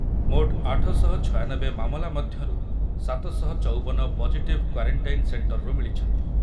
ମୋଟ ଆଠ ଶହ ଛୟାନବେ ମାମଲା ମଧ୍ୟରୁ ସାତ ଶହ ଚୌବନ ପଜିଟିଭ୍ କ୍ୱାରେଣ୍ଟାଇନ ସେଣ୍ଟର୍‌ରୁ ମିଳିଛନ୍ତି ।